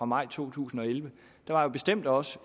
maj to tusind og elleve der var bestemt også